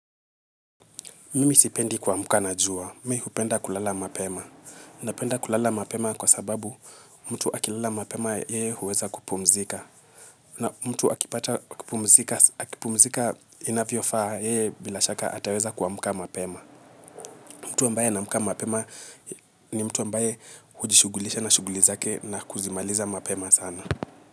Mimi sipendi kua mka na jua. Mi hupenda kulala mapema. Na penda kulala mapema kwa sababu mtu akilala mapema yeye huweza kupumzika. Na mtu akipata kupumzika inavyo faa yeye bila shaka ataweza kuamka mapema. Mtu ambaye ana amka mapema ni mtu ambaye hujishugulisha na shugulizake na kuzimaliza mapema sana.